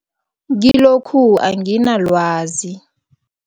Kilokhu anginalwazi.